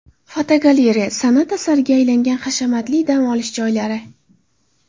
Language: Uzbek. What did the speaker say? Fotogalereya: San’at asariga aylangan hashamatli dam olish joylari.